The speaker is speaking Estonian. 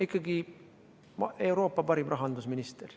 Ikkagi Euroopa parim rahandusminister.